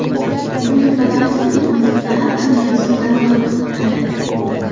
Buyurtmalar esa yurtimizning har qanday qismidan qabul qilinadi.